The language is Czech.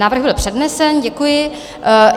Návrh byl přednesen, děkuji.